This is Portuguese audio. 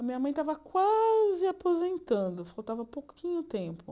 A minha mãe estava quase aposentando, faltava pouquinho tempo.